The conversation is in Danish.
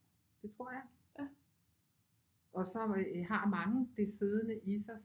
Det tror jeg og så har mange det siddende i sig